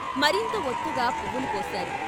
మరింత వొత్తుగా పువ్వులు పోశారు.